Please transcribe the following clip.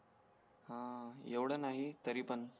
हां एवड नाही तरी तरी पण